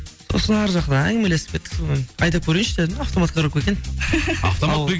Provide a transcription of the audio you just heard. сосын арғы жақтан әңгімелесіп кеттік сонымен айдап көрейінші дедім автомат коробка екен